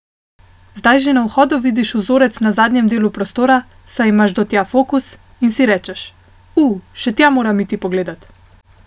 Zdaj že na vhodu vidiš vzorec na zadnjem delu prostora, saj imaš do tja fokus, in si rečeš: 'U, še tja moram iti pogledat.